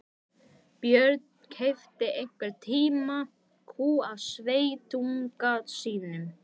Björn keypti einhvern tíma kú af sveitunga sínum.